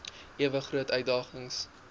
ewe groot uitdagings